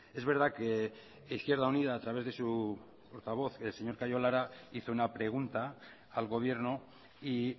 es verdad que izquierda unida a través de su portavoz el señor callo lara hizo una pregunta al gobierno y